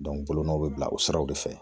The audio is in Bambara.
bolonɔw be bila o siraw de fɛ